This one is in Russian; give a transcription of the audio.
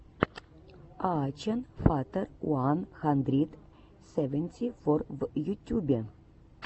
аачен фатер уан хандрид севенти фор в ютюбе